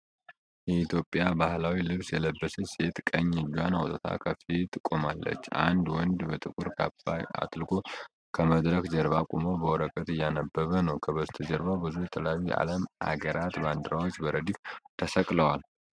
የኢትዮጵያ ባህላዊ ልብስ የለበሰች ሴት ቀኝ እጇን አውጥታ ከፊት ቆማለች። አንድ ወንድ በጥቁር ካባ አጥልቆ ከመድረክ ጀርባ ቆሞ በወረቀት እያነበበ ነው። ከበስተጀርባው ብዙ የተለያየ የዓለም አገራት ባንዲራዎች በረድፍ ተሰቅለዋል።